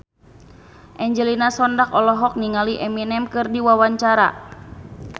Angelina Sondakh olohok ningali Eminem keur diwawancara